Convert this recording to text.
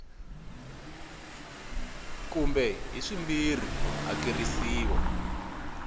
kumbe hi swimbirhi ku hakerisiwa